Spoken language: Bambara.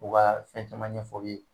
U ka fɛn caman ɲɛfɔ i ye.